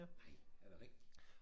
Nej er det rigtigt